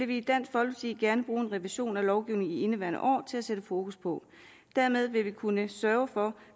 vi i dansk folkeparti gerne ville bruge en revision af lovgivningen i indeværende år til at sætte fokus på dermed ville vi kunne sørge for